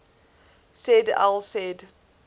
said al said